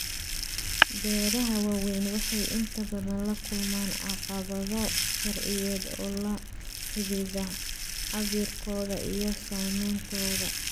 Beeraha waaweyni waxay inta badan la kulmaan caqabado sharciyeed oo la xidhiidha cabbirkooda iyo saamayntooda.